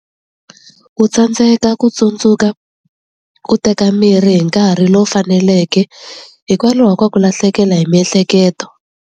Ku tsandzeka ku tsundzuka ku teka mirhi hi nkarhi lowu faneleke hikwalaho ka ku lahlekela hi miehleketo.